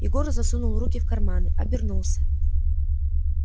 егор засунул руки в карманы обернулся